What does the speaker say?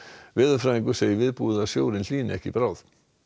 veðurfræðingur segir viðbúið að sjórinn hlýni ekki í bráð